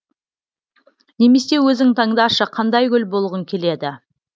немесе өзің таңдашы қандай гүл болғың келеді